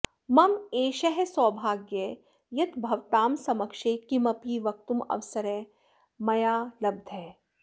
मम एषः सौभाग्यः यत् भवतां समक्षे किमपि वक्तुं अवसरः मया लब्धः